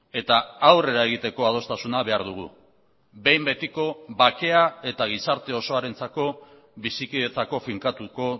eta aurrera egiteko adostasuna behar dugu behin betiko bakea eta gizarte osoarentzako bizikidetzako finkatuko